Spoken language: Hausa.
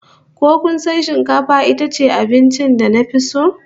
Ko kasan shikafa itace abincin da nafi so?